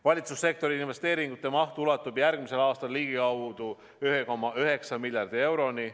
Valitsussektori investeeringute maht ulatub järgmisel aastal ligikaudu 1,9 miljardi euroni.